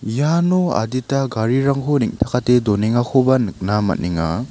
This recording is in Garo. iano adita garirangko neng·takate donengakoba nikna man·enga.